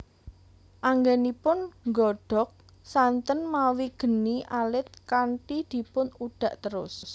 Anggenipun nggodhog santen mawi geni alit kanthi dipun udhak terus